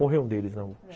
Morreu um deles, não?